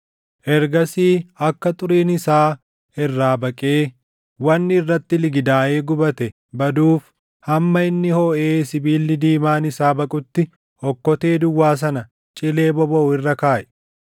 Ergasii akka xuriin isaa irraa baqee wanni irratti ligidaaʼe gubatee baduuf, hamma inni hoʼee sibiilli diimaan isaa baqutti, okkotee duwwaa sana cilee bobaʼu irra kaaʼi.